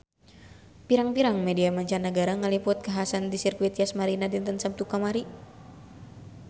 Pirang-pirang media mancanagara ngaliput kakhasan di Sirkuit Yas Marina dinten Saptu kamari